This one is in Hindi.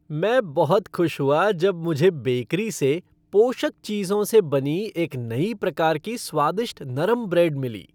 मैं बहुत खुश हुआ जब मुझे बेकरी से पोषक चीज़ों से बनी एक नई प्रकार की स्वादिष्ट नरम ब्रेड मिली।